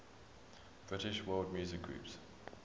british world music groups